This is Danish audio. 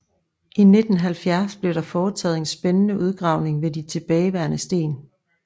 I 1970 blev der foretaget en spændende udgravning ved de tilbageværende sten